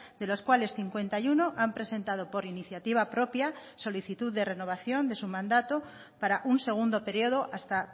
de los cuales cincuenta y uno han presentado por iniciativa propia solicitud de renovación de su mandato para un segundo periodo hasta